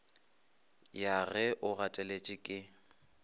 ya ge o gateletše ke